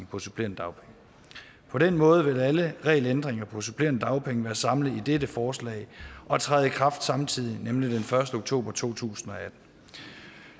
på supplerende dagpenge på den måde vil alle regelændringer om supplerende dagpenge være samlet i dette forslag og træde i kraft samtidig nemlig den første oktober to tusind